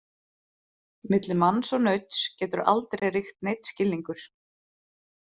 Milli manns og nauts getur aldrei ríkt neinn skilningur.